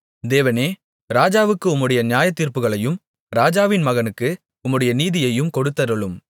தேவனே ராஜாவுக்கு உம்முடைய நியாயத்தீர்ப்புகளையும் ராஜாவின் மகனுக்கு உம்முடைய நீதியையும் கொடுத்தருளும்